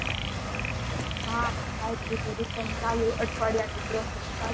હા સાવ હજી કાંટાળું અઠવાડિયા ના ત્રણ